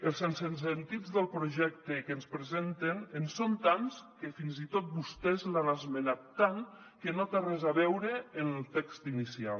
els sensesentits del projecte que ens presenten són tants que fins i tot vostès l’han esmenat tant que no té res a veure amb el text inicial